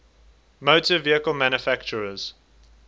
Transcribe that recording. motor vehicle manufacturers